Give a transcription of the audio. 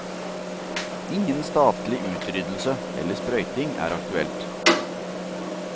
Ingen statlig utryddelse eller sprøyting er aktuelt.